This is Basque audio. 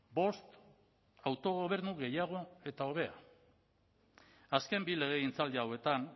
bost autogobernu gehiago eta hobea azken bi legegintzaldi hauetan